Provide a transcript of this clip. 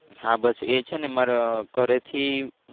હા બસ એ છે ને મારા ઘરે થી